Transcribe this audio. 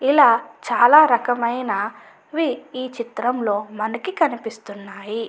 అలా చాలా రకమైనవి చిత్రంలో మనకి కనిపిస్తూ ఉన్నాయి.